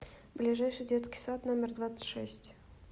ближайший детский сад номер двадцать шесть